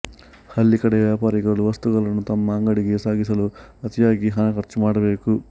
ಹಳ್ಳಿ ಕಡೆಯ ವ್ಯಾಪಾರಿಗಳು ವಸ್ತುಗಳನ್ನು ತಮ್ಮ ಅಂಗಡಿಗೆ ಸಾಗಿಸಲು ಅತಿಯಾಗಿ ಹಣ ಖರ್ಚು ಮಾಡಬೇಕು